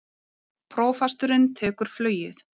Prófasturinn tekur flugið